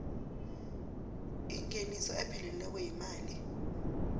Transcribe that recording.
ingeniso epheleleko yemali